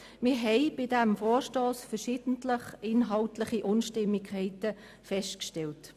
Wir haben verschiedene inhaltliche Unstimmigkeiten festgestellt.